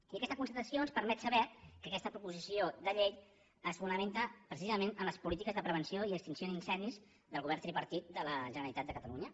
i aquesta constatació ens permet saber que aquesta proposició de llei es fonamenta preci·sament en les polítiques de prevenció i extinció d’incen·dis del govern tripartit de la generalitat de catalunya